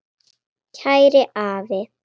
Kæri afi.